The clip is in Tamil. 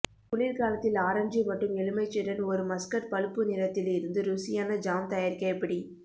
குளிர்காலத்தில் ஆரஞ்சு மற்றும் எலுமிச்சைடன் ஒரு மஸ்கட் பழுப்பு நிறத்தில் இருந்து ருசியான ஜாம் தயாரிக்க எப்படி